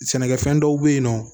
Sɛnɛkɛfɛn dɔw bɛ yen nɔ